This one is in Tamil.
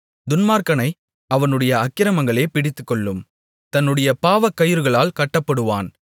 துன்மார்க்கனை அவனுடைய அக்கிரமங்களே பிடித்துக்கொள்ளும் தன்னுடைய பாவக்கயிறுகளால் கட்டப்படுவான்